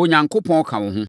Onyankopɔn ka wo ho.